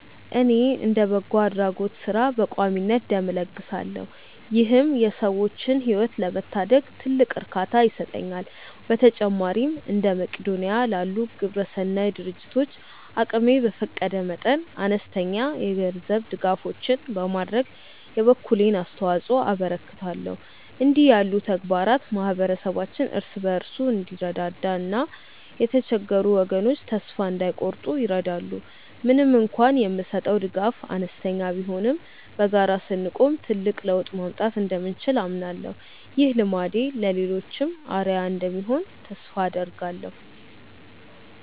እኔ እንደ በጎ አድራጎት ሥራ በቋሚነት ደም እለግሳለሁ ይህም የሰዎችን ሕይወት ለመታደግ ትልቅ እርካታ ይሰጠኛል። በተጨማሪም እንደ መቅዶንያ ላሉ ግብረሰናይ ድርጅቶች አቅሜ በፈቀደ መጠን አነስተኛ የገንዘብ ድጋፎችን በማድረግ የበኩሌን አስተዋጽኦ አበረክታለሁ። እንዲህ ያሉ ተግባራት ማኅበረሰባችን እርስ በርሱ እንዲረዳዳና የተቸገሩ ወገኖች ተስፋ እንዳይቆርጡ ይረዳሉ። ምንም እንኳን የምሰጠው ድጋፍ አነስተኛ ቢሆንም በጋራ ስንቆም ትልቅ ለውጥ ማምጣት እንደምንችል አምናለሁ። ይህ ልማዴ ለሌሎችም አርአያ እንደሚሆን ተስፋ አደርጋለሁ።